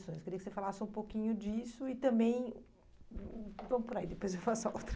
Eu queria que você falasse um pouquinho disso e também... Hum, vamos por aí, depois eu faço a outra.